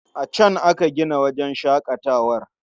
A can aka gina wajen shaƙatawar.